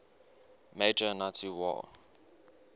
major nazi war